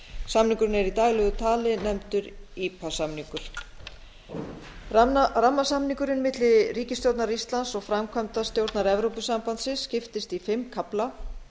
samningurinn er í daglegu tali nefndur ipa samningur rammasamningurinn milli ríkisstjórnar íslands og framkvæmdastjórnar evrópusambandsins skiptist í fimm kafla